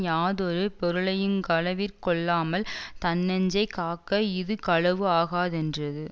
யாதொரு பொருளையுங் களவிற் கொள்ளாமல் தன்னெஞ்சைக் காக்க இது களவு ஆகாதென்றது